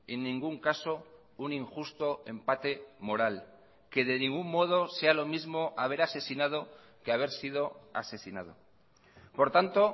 en ningún caso un injusto empate moral que de ningún modo sea lo mismo haber asesinado que haber sido asesinado por tanto